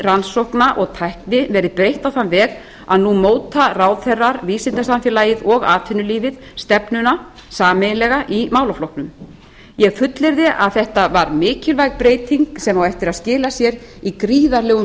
rannsókna og tækni verið breytt á þann veg að nú móta ráðherrar vísindasamfélagið og atvinnulífið stefnuna sameiginlega í málaflokknum ég fullyrði að þetta var mikilvæg breyting sem á eftir að skila sér í gríðarlegum